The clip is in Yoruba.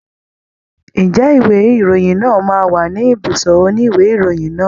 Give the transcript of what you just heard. Ǹjẹ́ ìwé ìròyìn náà máa wà ní ibùsọ̀ òní ìwé ìròyìn náà?